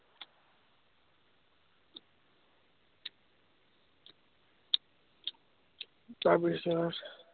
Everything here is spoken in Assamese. তাৰ পিছত